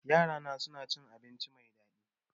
Yarana sun ci abinci mai daɗi